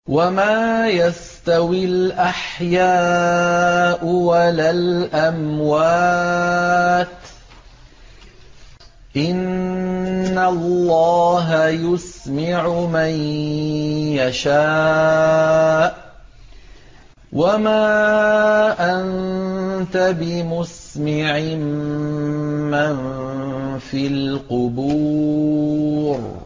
وَمَا يَسْتَوِي الْأَحْيَاءُ وَلَا الْأَمْوَاتُ ۚ إِنَّ اللَّهَ يُسْمِعُ مَن يَشَاءُ ۖ وَمَا أَنتَ بِمُسْمِعٍ مَّن فِي الْقُبُورِ